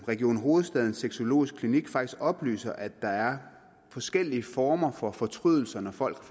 region hovedstadens sexologiske klinik faktisk oplyser at der er forskellige former for fortrydelse når folk